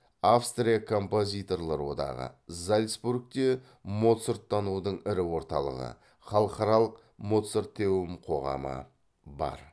австрия композиторлар одағы зальцбургте моцарттанудың ірі орталығы халықаралық моцартеум қоғамы бар